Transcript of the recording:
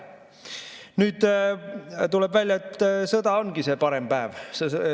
Nüüd tuleb välja, et sõda ongi see parem päev.